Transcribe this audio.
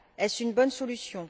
Est ce une bonne solution?